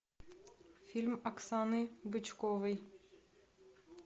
фильм оксаны бычковой